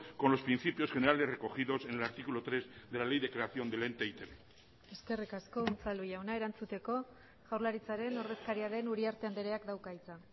con los principios generales recogidos en el artículo tres de la ley de creación del ente e i te be eskerrik asko unzalu jauna erantzuteko jaurlaritzaren ordezkaria den uriarte andreak dauka hitza